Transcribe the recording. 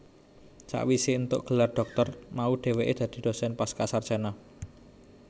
Sawise entuk gelar dhoktor mau dheweke dadi dosen Pascasarjana